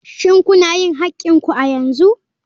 Shin kuna yin haƙƙin ku a yanzu?